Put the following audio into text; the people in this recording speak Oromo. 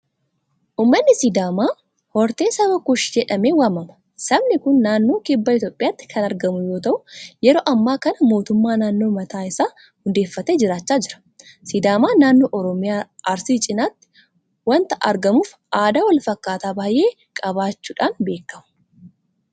Uummanni Sidaamaa hortee saba kuush jedhamee waamama. Sabni kun naannoo kibba Itoophiyaatti kan argamu yoota'u yeroo ammaa kana mootummaa naannoo mataa isaa hundeeffatee jiraachaa jira. Sidaamaan naannoo Oromiyaa arsii cinaatti waanta argamuuf aadaa walfakkaataa baay'ee qabaachuudhaan beekamu.